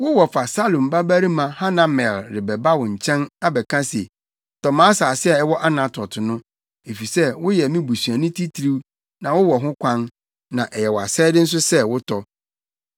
Wo wɔfa Salum babarima Hanamel rebɛba wo nkyɛn, abɛka se, ‘Tɔ mʼasase a ɛwɔ Anatot + 32.7 Anatot—Yeremia kurom. no, efisɛ woyɛ me busuani titiriw na wowɔ ho kwan, na ɛyɛ wʼasɛde nso sɛ wotɔ.’